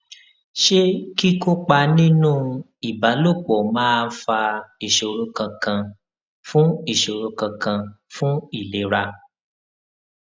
ṣé kíkópa nínú ìbálòpò máa fa ìṣòro kankan fún ìṣòro kankan fún ìlera